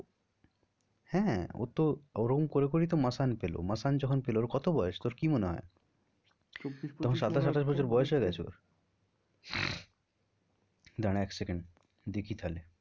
হ্যাঁ ও তো ওরকম করে করেই তো masaan পেলো masaan যখন পেলো ওর কত বয়স তোর কি মনে হয়? চব্বিশ পঁচিশ তখন সাতাশ আঠাশ বছর বয়স হয়ে গেছে ওর দাঁড়া এক second দেখি তাহলে।